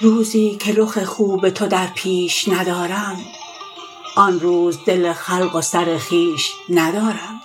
روزی که رخ خوب تو در پیش ندارم آن روز دل خلق و سر خویش ندارم